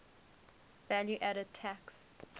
value added tax